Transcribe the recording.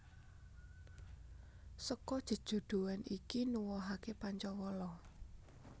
Seka jejodhoan iki nuwuhake Pancawala